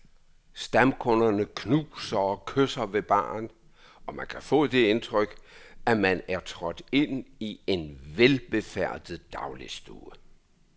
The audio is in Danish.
Stamkunderne knuser og kysser ved baren, og man kan få det indtryk, at man er trådt ind i en velbefærdet dagligstue.